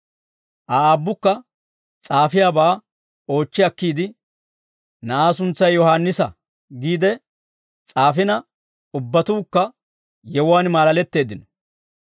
Aa aabbukka s'aafiyaabaa oochchi akkiide, «Na'aa suntsay Yohaannisa» giide s'aafina, ubbatuukka yewuwaan maalaletteeddino.